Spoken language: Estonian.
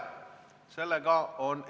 Istung on lõppenud.